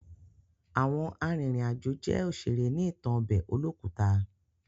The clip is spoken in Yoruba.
Àwọn arìnrìn àjò jẹ́ òṣèré ní ìtàn ọbẹ̀ olókùta.